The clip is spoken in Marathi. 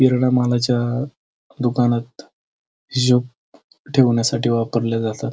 किराणा मालाच्या दुकानात हिशोब ठेवण्यासाठी वापरल जात.